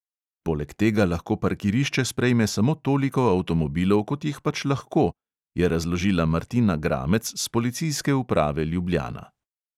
Poleg tega lahko parkirišče sprejme samo toliko avtomobilov, kot jih pač lahko, je razložila martina gramec s policijske uprave ljubljana.